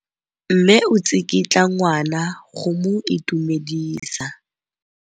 Mme o tsikitla ngwana go mo itumedisa.